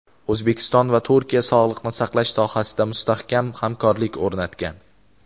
O‘zbekiston va Turkiya sog‘liqni saqlash sohasida mustahkam hamkorlik o‘rnatgan.